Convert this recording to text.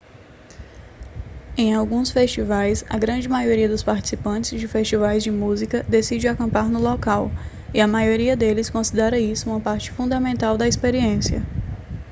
em alguns festivais a grande maioria dos participantes de festivais de música decide acampar no local e a maioria deles considera isso uma parte fundamental da experiência